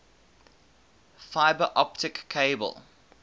fiber optic cable